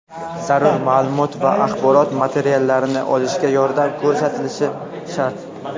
zarur maʼlumot va axborot materiallarini olishda yordam ko‘rsatishi shart.